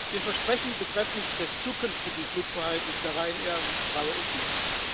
Den Versprechen betreffend des zukünftigen Flugverhaltens der Ryanair traue ich nicht.